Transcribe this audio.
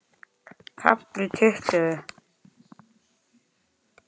KAFLI TUTTUGU